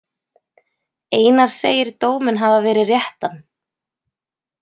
Einar segir dóminn hafa verið réttan.